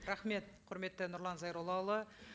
рахмет құрметті нұрлан зайроллаұлы